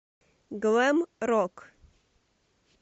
глэм рок